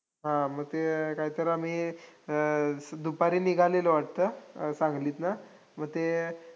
संपूर्ण कोकण महाराष पाव संपूर्ण कोकण हे अतिवृष्टीमुळे बुडून गेले. पिकांची खूप नासाडी झाली.